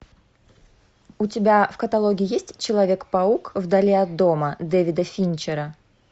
у тебя в каталоге есть человек паук в дали от дома дэвида финчера